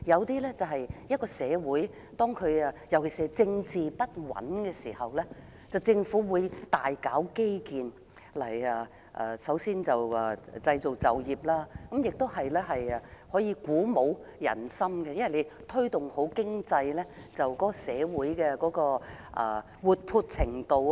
當一個社會的政局不穩，政府都會大搞基建，一方面創造就業，另一方面鼓舞人心，因為推動經濟可提高社會的活潑程度。